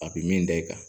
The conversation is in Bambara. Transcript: A bi min da i kan